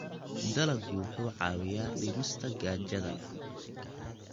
Dalaggu wuxuu caawiyaa dhimista gaajada.